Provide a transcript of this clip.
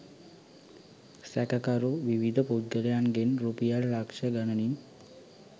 සැකකරු විවිධ පුද්ගලයන්ගෙන් රුපියල් ලක්‍ෂ ගණනින්